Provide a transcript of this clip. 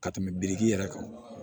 Ka tɛmɛ biriki yɛrɛ kan